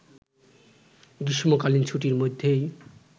গ্রীষ্মকালীন ছুটির মধ্যেই